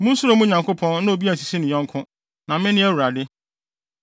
Munsuro mo Nyankopɔn na obi ansisi ne yɔnko. Na mene Awurade.